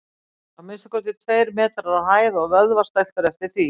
Að minnsta kosti tveir metrar á hæð og vöðvastæltur eftir því.